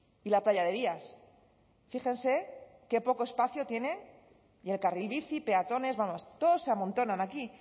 y la playa de vías fíjense qué poco espacio tiene el carril bici peatones bueno todos se amontonan aquí